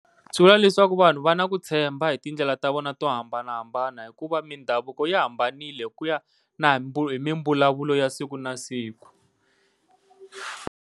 Swi vula leswaku vanhu va na ku tshemba hi tindlela ta vona to hambanahambana hikuva mindhavuko yi hambanile kuya na hi ni mvulavulo ya siku na siku.